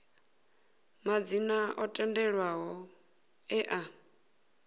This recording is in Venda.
madzina o tendelwaho e a